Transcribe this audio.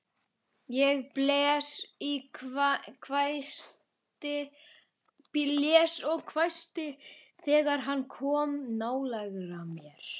Ég blés og hvæsti þegar hann kom nálægt mér.